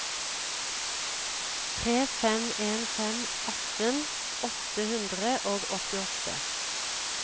tre fem en fem atten åtte hundre og åttiåtte